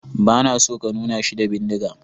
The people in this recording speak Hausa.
Ba na so ka nuna shi da bindiga.